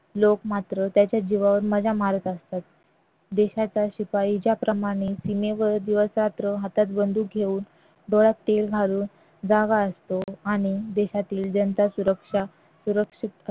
लोक मात्र त्याच्या जीवावर मज्जा मारत असतात देशाचा शिपाई ज्याप्रमाणे सीमेवर दिवसरात्र हातात बंदूक घेऊन डोळ्यात तेल घालून जागा असतो आणि देशातील जनता सुरक्षा सुरक्षित